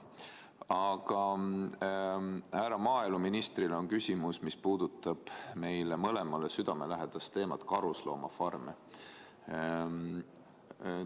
Aga härra maaeluministrile on mul küsimus, mis puudutab meile mõlemale südamelähedast teemat, karusloomafarme.